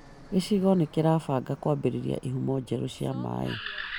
Gĩcigo nĩ kĩrabanga kwambĩrĩria ihumo njerũ cia maaĩ